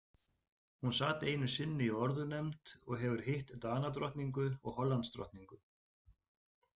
Hún sat einu sinni í orðunefnd og hefur hitt Danadrottningu og Hollandsdrottningu.